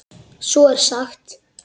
Svo er sagt.